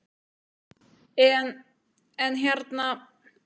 En, en hérna.